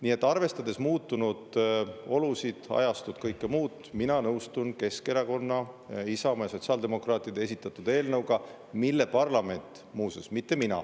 Nii et arvestades muutunud olusid, ajastut, kõike muud, mina nõustun Keskerakonna, Isamaa ja sotsiaaldemokraatidega, kes esitasid selle eelnõu, mida parlament, muuseas, mitte mina …